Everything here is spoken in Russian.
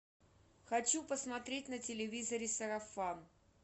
хочу посмотреть на телевизоре сарафан